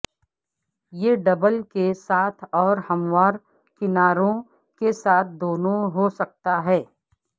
یہ ڈبل کے ساتھ اور ہموار کناروں کے ساتھ دونوں ہو سکتا ہے